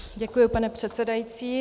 Děkuji, pane předsedající.